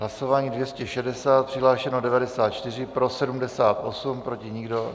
Hlasování 260, přihlášeno 94, pro 78, proti nikdo.